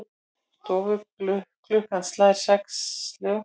Stofuklukkan slær sex slög.